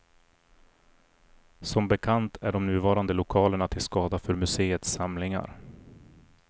Som bekant är de nuvarande lokalerna till skada för museets samlingar.